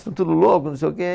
São tudo louco, não sei o quê.